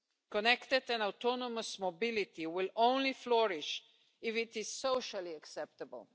Connected and autonomous mobility will flourish only if it is socially acceptable.